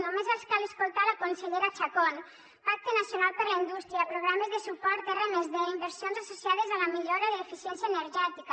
només els cal escoltar la consellera chacón pacte nacional per a la indústria programes de suport r+d inversions associades a la millora de l’eficiència energètica